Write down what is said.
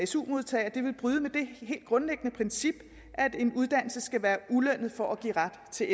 su modtagere vil bryde med det helt grundlæggende princip at en uddannelse skal være ulønnet for at give ret til